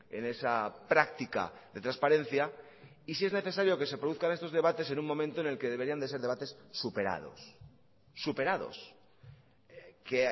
en esa práctica de transparencia y si es necesario que se produzcan estos debates en un momento en el que deberían de ser debates superados superados que